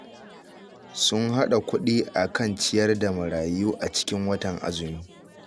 Sun haɗa kuɗi a kan ciyar da marayu a cikin watan azumi